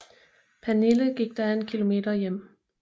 Pernille gik da en kilometer hjem